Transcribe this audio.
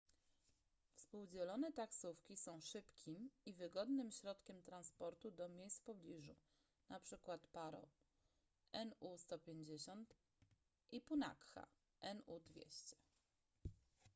współdzielone taksówki są szybkim i wygodnym środkiem transportu do miejsc w pobliżu np. paro nu 150 i punakha nu 200